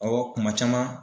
Awɔ kuma caman.